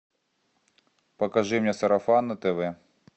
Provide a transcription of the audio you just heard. покажи мне сарафан на тв